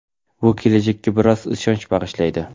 bu kelajakka biroz ishonch bag‘ishlaydi.